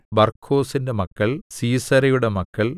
ബർക്കോസിന്റെ മക്കൾ സീസെരയുടെ മക്കൾ